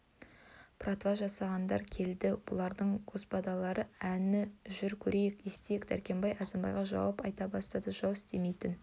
потрава жасағандар келді бұлардың господалары әні жүр көрейік естиік дәркембай әзімбайға жауап айта бастады жау істемейтін